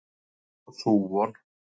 Þar fór sú von.